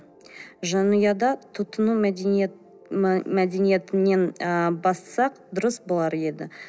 жанұяда тұтыну ы мәдениетінен ы бастасақ дұрыс болар еді